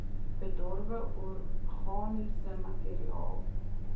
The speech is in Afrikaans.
bedorwe organiese materiaal